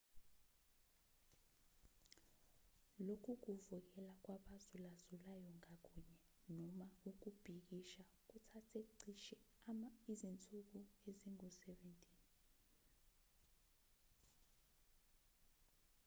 lokhu kuvukela kwabazulazulayo ngakunye noma ukubhikisha kuthathe cishe izinsuku ezingu-17